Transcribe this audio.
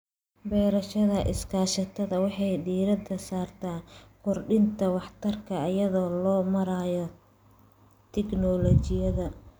Beerashada iskaashatada waxay diiradda saartaa kordhinta waxtarka iyada oo loo marayo tignoolajiyada.